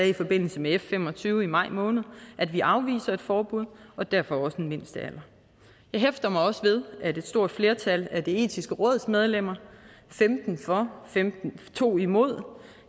i forbindelse med f fem og tyve i maj måned at vi afviser et forbud og derfor også en mindstealder jeg hæfter mig også ved at et stort flertal af det etiske råds medlemmer femten for to imod